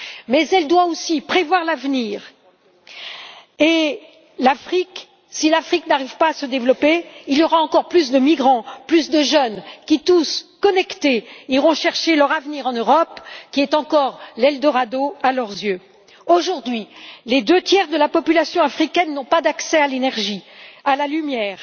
Mais elle doit aussi prévoir l'avenir et, si l'Afrique n'arrive pas à se développer, il y aura encore plus de migrants, plus de jeunes qui, tous connectés, iront chercher leur avenir en Europe, qui est encore l'eldorado à leurs yeux. Aujourd'hui, les deux tiers de la population africaine n'ont pas accès à l'énergie, à la lumière.